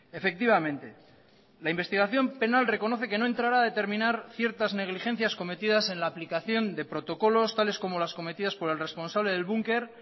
efectivamente la investigación penal reconoce que no entrará a determinar ciertas negligencias cometidas en la aplicación de protocolos tales como las cometidas por el responsable del bunker